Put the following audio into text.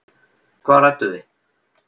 Hvað rædduð þið?